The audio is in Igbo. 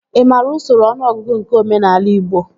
Ị maara usoro ọnụọgụgụ nke omenaala igbo?